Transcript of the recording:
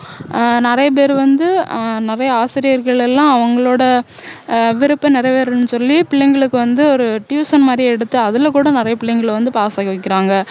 ஆஹ் நிறைய பேரு வந்து ஆஹ் நிறைய ஆசிரியர்கள் எல்லாம் அவங்களோட ஆஹ் விருப்பம் நிறைவேறனும்னு சொல்லி பிள்ளைங்களுக்கு வந்து ஒரு tuition மாதிரி எடுத்து அதுல கூட நிறைய பிள்ளைங்களை வந்து pass ஆக்கி வக்கிறாங்க